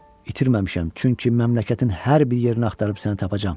İtirməmişəm, çünki məmləkətin hər bir yerini axtarıb səni tapacağam.